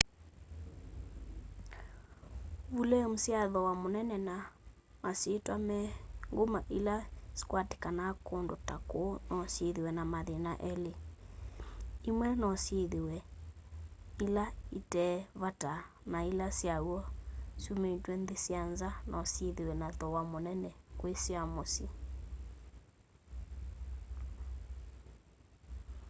vulemu sya thooa munene na masyitwa me nguma ila sikwatikanaa kundu ta kuu no syithiwe na mathina eli imwe no syithiwe ila itee vata na ila sya w'o syumitw'e nthi sya nza no syithiwe na thooa munene kwi sya musyi